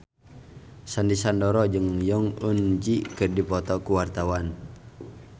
Sandy Sandoro jeung Jong Eun Ji keur dipoto ku wartawan